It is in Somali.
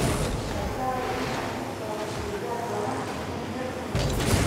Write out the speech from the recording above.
Iska ilaali in aad ku xoorto digaag badan meel yar oo yar.